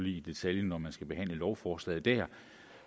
i detaljen når man skal behandle lovforslaget der